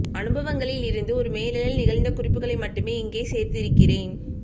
அனுபவங்களில் இருந்து ஒரு மேலெழல் நிகழ்ந்த குறிப்புகளை மட்டுமே இங்கே சேர்த்திருக்கிறேன்